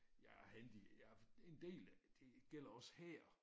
Jeg er handy jeg en del det gælder også her